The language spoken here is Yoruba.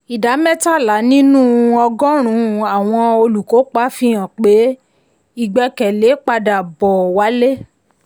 ìdá mẹ́tàlá nínú ọgọ́rùn-ún àwọn olùkópa fihan pé ìgbẹ́kẹ̀lé padà bò wálé.